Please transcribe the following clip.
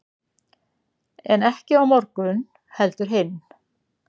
en ekki á morgun heldur hinn